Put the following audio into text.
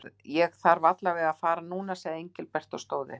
Ég þarf alla vega að fara núna sagði Engilbert og stóð upp.